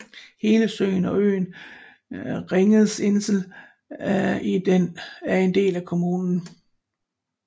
Hele søen og øen Ringseeinsel i den er en del af kommunen